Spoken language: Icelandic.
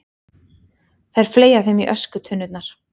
Þær fleygja þeim í öskutunnurnar.